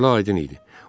Məsələ aydın idi.